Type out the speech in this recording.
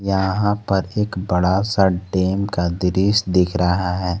यहां पर एक बड़ा सा डैम का दृश्य दिख रहा है।